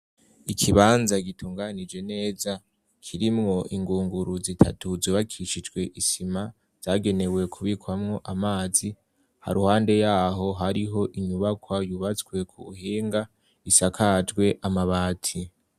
Ikibanza gitunganije neza kirimwo ingunguru zitatu zubakishijwe isima zagenewe kubikwamwo amazi. Haruhande yaho hariho inyubakwa yubatswe ku buhinga isakajwe amabati.